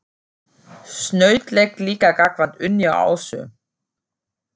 Snautlegt líka gagnvart Unni og Ásu.